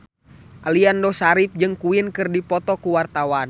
Aliando Syarif jeung Queen keur dipoto ku wartawan